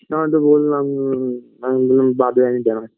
তোমাকে তো বোললাম উমম আমি বললাম বাদে আমি জানাচ্ছি